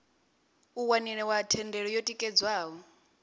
u waniwa thendelo yo tikedzwaho